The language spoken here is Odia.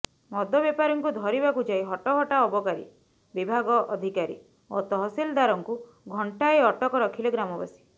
ମଦ ବେପାରୀଙ୍କୁ ଧରିବାକୁ ଯାଇ ହଟହଟା ଅବକାରୀ ବିଭାଗ ଅଧିକାରୀ ଓ ତହସିଲଦାରଙ୍କୁ ଘଣ୍ଟାଏ ଅଟକ ରଖିଲେ ଗ୍ରାମବାସୀ